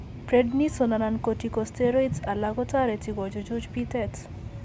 Prednisone anan corticosteroids alak ko toreti ko chuchuch biitet.